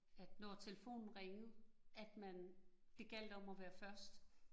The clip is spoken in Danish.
At når telefonen ringede, at man, det gjaldt om at være først